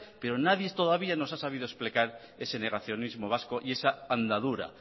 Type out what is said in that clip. pero nadie todavía nos ha sabido explicar ese negacionismo vasco y esa andadura